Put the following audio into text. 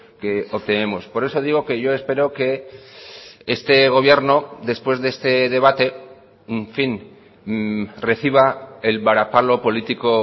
que obtenemos por eso digo que yo espero que este gobierno después de este debate en fin reciba el varapalo político